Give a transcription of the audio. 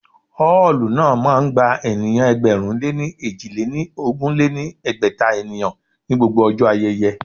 Ọ́ọ̀lù náà máa ń gba ènìyàn ẹgbẹ̀rún lé èjì lé ní ogún lé ní ẹgbẹ́ta ènìyàn ní gbogbo ọjọ́ ayẹyẹ